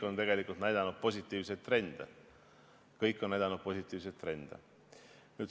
Need kõik on näidanud positiivseid trende.